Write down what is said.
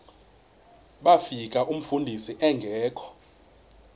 bafika umfundisi engekho